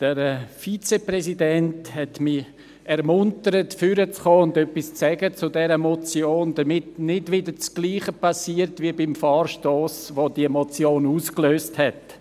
Der Vizepräsident hat mich ermuntert, nach vorne zu kommen, um etwas zu dieser Motion zu sagen, damit nicht das Gleiche geschieht wie beim Vorstoss welcher diese Motion ausgelöst hat.